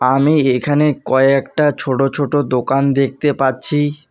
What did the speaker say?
আমি এইখানে কয়েকটা ছোট ছোট দোকান দেখতে পাচ্ছি।